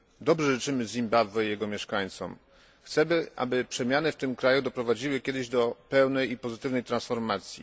Dobrze życzymy Zimbabwe i jego mieszkańcom, chcemy, aby przemiany w tym kraju doprowadziły kiedyś do pełnej i pozytywnej transformacji.